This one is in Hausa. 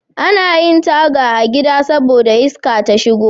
Anayin Taga a gida saboda iska ta shigo